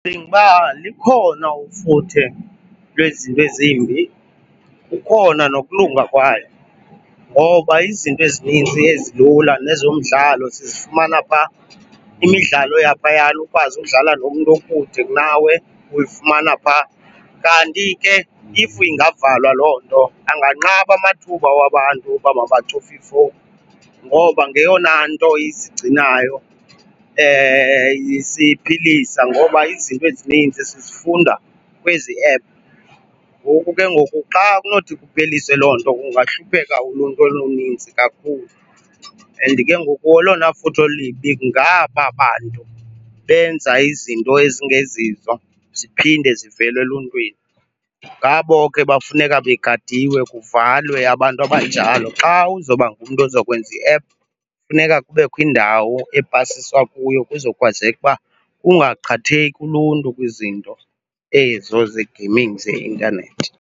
Ndicinga uba likhona ufuthe lwezinto ezimbi, kukhona nokulunga kwayo ngoba izinto ezininzi ezilula nezomdlalo sizifumana pha. Imidlalo yaphayana ukwazi udlala nomntu okude kunawe, uyifumana pha. Kanti ke if ingavalwa loo nto anganqaba amathuba wabantu uba mabacofe ifowuni ngoba ngeyona nto isigcinayo isiphilisa ngoba izinto ezininzi sizifunda kwezi app. Ngoku ke ngoku xa kunothi kupheliswe loo nto kungahlupheka uluntu oluninzi kakhulu. And ke ngoku olona futhe olubi ngaba bantu benza izinto ezingezizo ziphinde zivele eluntwini, ngabo ke bafuneka begadiwe, kuvalwe abantu abanjalo. Xa uzawuba ngumntu ozokwenza i-app funeka kubekho indawo epasiswa kuyo kuzokwazeka uba kungaqhatheki uluntu kwizinto ezo ze-gaming zeintanethi.